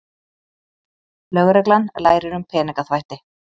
Lögreglan lærir um peningaþvætti